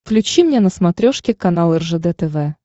включи мне на смотрешке канал ржд тв